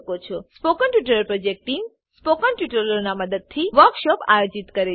spoken tutorial project team spoken ટ્યુટોરીયલોનાં ઉપયોગથી વર્કશોપોનું આયોજન કરે છે